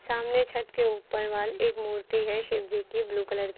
सामने छत के ऊपर वॉल एक मूर्ति है शिव जी की ब्लू कलर की।